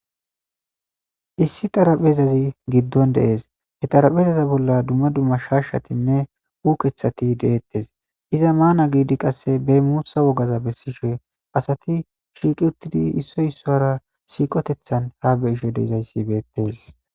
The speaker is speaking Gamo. Issi xaraphezazi giddon de'ees. He xarapheza bolla dumma dumma shaashatinne ukethati de'etees. Iza maana giidi qasse be muusa wogaza bessishe asati shiiqi uttidi isoy issara siiqotethan habe'ishe dizays beetees.